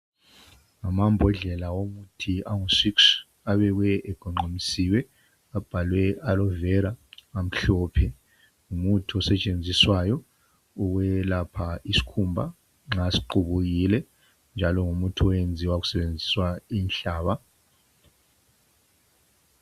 Ngamambodlela omuthi angu six. Abekwe egonqamisiwe. Abhalwe Aloe vera, amhlophe. Ngumuthi osetshenziswayo ukwelapha isikhumba nxa siqubukile, njalo ngumuthi, owenziwa kusebenziswa inhlaba.